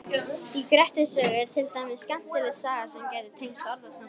Í Grettis sögu er til dæmis skemmtileg saga sem gæti tengst orðasambandinu.